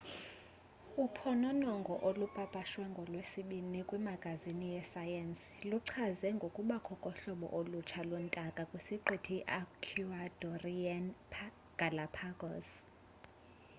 uphononongo olupapashwe ngolwesine kwimagazini yesayensi luichaze ngokubakho kohlobo olutsha lwentaka kwisiqithi i-ecuadorean galápagos